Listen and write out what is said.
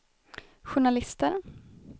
journalister